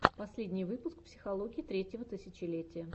последний выпуск психологии третьего тысячелетия